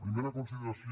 primera consideració